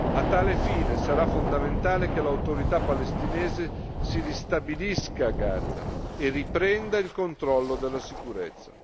A tal fine, sarà fondamentale che l'Autorità palestinese si ristabilisca a Gaza e riprenda il controllo della sicurezza.